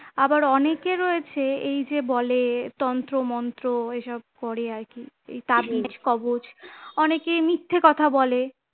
আবার অনেকে রয়েছে এই যে বলে তন্ত্র-মন্ত্র এইসব করে আরকি এই তাবিজ কবজ অনেকে মিথ্যে কথা বলে